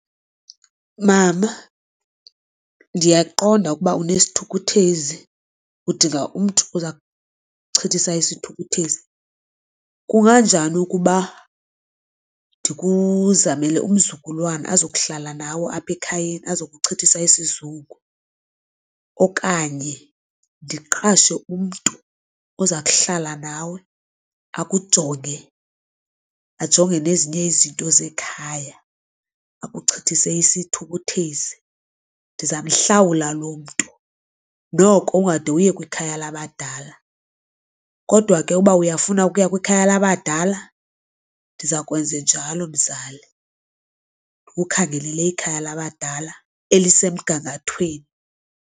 Mama, ndiyakuqonda ukuba unesithukuthezi udinga umntu oza kuchithisa isithukuthezi. Kunganjani ukuba ndikuzamele umzukulwana azokuhlala nawe apha ekhayeni azokuchithisa isizungu. Okanye ndiqashe umntu oza kuhlala nawe akujonge ajonge nezinye izinto zekhaya, akuchithise isithukuthezi. Ndizamhlawula loo mntu noko ungade uye kwikhaya labadala, kodwa ke uba uyafuna ukuya kwikhaya labadala ndiza kwenza njalo mzali. Ndkukhangelele ikhaya labadala elisemgangathweni.